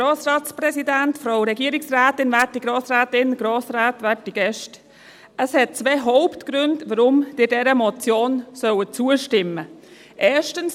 Es gibt zwei Hauptgründe, weshalb Sie dieser Motion zustimmen sollen.